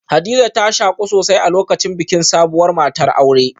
Hadiza ta shaku sosai a lokacin bikin sabuwar matar aure